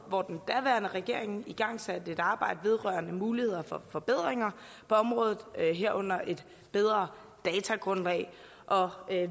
hvor den daværende regering igangsatte et arbejde vedrørende muligheder for forbedringer på området herunder et bedre datagrundlag og